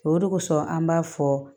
O de kosɔn an b'a fɔ